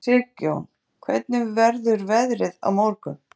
Sigjón, hvernig verður veðrið á morgun?